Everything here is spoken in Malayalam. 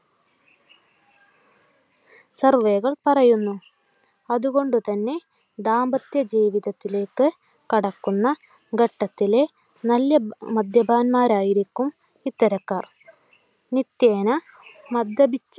surve കൾ പറയുന്നു. അതുകൊണ്ടുത്തന്നെ ദാമ്പത്യ ജീവിതത്തിലേക്ക് കടക്കുന്ന ഘട്ടത്തിലെ നല്ല മദ്യപന്മാരായിരിക്കും ഇത്തരക്കാർ. നിത്യേന മദ്യപി